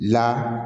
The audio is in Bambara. La